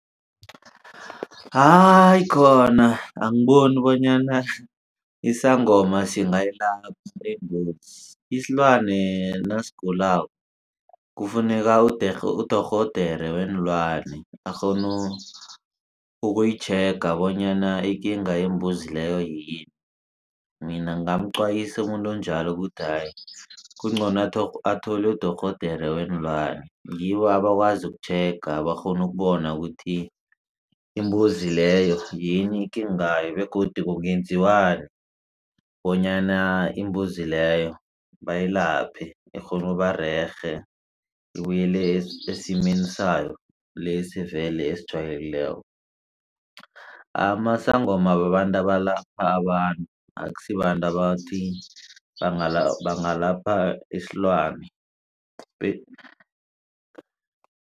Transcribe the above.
Hayi khona angiboni bonyana isangoma singayilapha imbuzi isilwane nasigulako kufuneka udorhodere weenlwane akghone uyitjhega bonyana ikinga yembuzi leyo yini. Mina ngingamqwayisa umuntu onjalo ukuthi kungcono athole udorhodere weenlwane ngibo abakwazi ukutjhega bakghone ukubona ukuthi imbuzi leyo yini ikingayo begodu kungenziwani bonyana imbuzi leyo bayilaphe ikghone ukubarerhe ibuyele esimeni sayo lesi vele esijwayelekileko. Amasangoma babantu abalapha abantu akusibabantu abathi bangalapha isilwane.